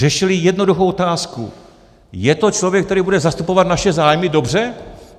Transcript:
Řešili jednoduchou otázku: Je to člověk, který bude zastupovat naše zájmy dobře?